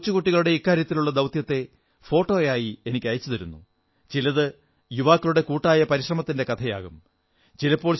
ചിലർ കൊച്ചുകുട്ടികളുടെ ഇക്കാര്യത്തിലുള്ള ദൌത്യങ്ങളുടെ ഫോട്ടോ അയച്ചു തരുന്നു ചിലത് യുവാക്കളുടെ കൂട്ടായ പരിശ്രമത്തിന്റെ കഥയാകും